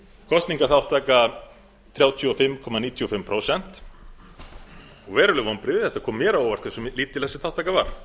kosningaþátttaka þrjátíu og fimm komma níutíu og fimm prósent og veruleg vonbrigði það kom mér á óvart hversu lítil þátttakan var